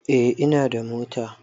Eh ina da mota